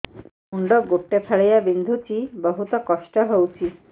ମୁଣ୍ଡ ଗୋଟେ ଫାଳିଆ ବିନ୍ଧୁଚି ବହୁତ କଷ୍ଟ ହଉଚି